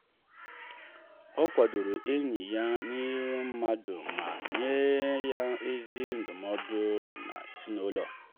ọ kwadoro enyi ya n’ihu mmadụ ma nye ya ezi ndụmọdụ n’ezinụlọ.